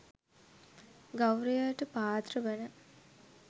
ගෞරවයට පාත්‍ර වන